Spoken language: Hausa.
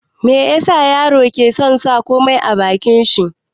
Me yasa yaro ke son sa komai a bakin shi?